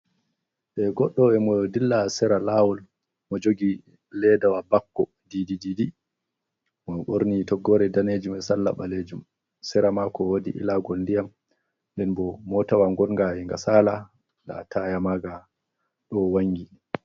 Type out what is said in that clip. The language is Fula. De goɗɗo emo dilla seera lawol, mo joogi ledawa bakko didi, mo ɓorni toggore danejum be salla ɓaleejum. Sera mako woodi ilagol ndiyam, nden bo motawa ngonga enga saala la taya maga ɗo wangi.